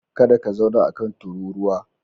Kada ka zauna a kan tururuwa.